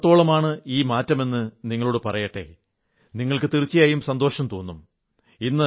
എത്രത്തോളമാണ് ഈ മാറ്റമെന്നു നിങ്ങളോടു പറയട്ടേ നിങ്ങൾക്ക് തീർച്ചയായും സന്തോഷം തോന്നും